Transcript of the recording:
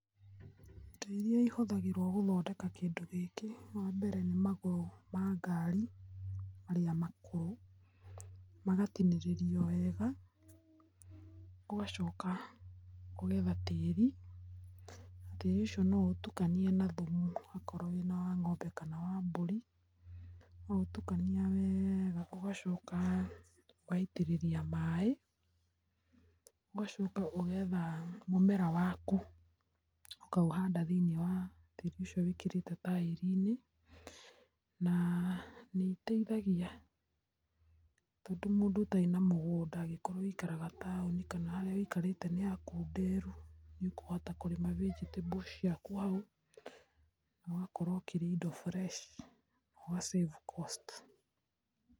Indo iria ihũthagĩrwo gũthondeka kĩndũ gĩkĩ wa mbere nĩ magũrũ ma garĩ marĩa makũrũ, magatinĩrĩrĩo wega ũgacoka ũgetha tĩri na tĩri ũcio no ũtũkanĩe na thũmũ okoro wĩna wa ng’ombe kana wa mbũri, watũkania wega ũgacoka ũgaitĩrĩrĩa maĩ ũgacoka ũgetha mũmera wakũ ũkaũhanda thĩinĩ wa tĩri ũcio wĩkĩrete taĩriinĩ na nĩ itethagĩa tondũ mũndũ ũtarĩ na mũgũnda agĩkorwo wĩikaraga ta taũni kana harĩa wĩkarĩte nĩ hakũnderũ, nĩ ũkũhota kũrĩma vegetables ciakũ haũ na ũgakorwo ũkĩrĩa indo fresh ũga save cost.